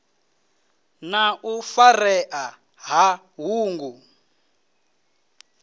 na u farea ha ṱhungu